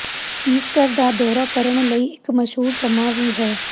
Easter ਦਾ ਦੌਰਾ ਕਰਨ ਲਈ ਇੱਕ ਮਸ਼ਹੂਰ ਸਮਾਂ ਵੀ ਹੈ